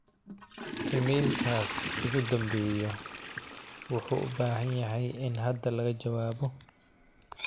iimalylkaas ugu dhambeyo wuxu u bahan yahay in hada laga jawaabo